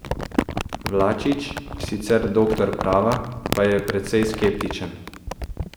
Vlačič, sicer doktor prava, pa je precej skeptičen.